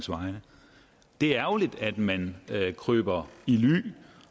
det er ærgerligt at man kryber i ly